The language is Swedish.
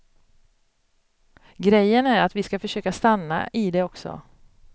Grejen är att vi ska försöka stanna i det också.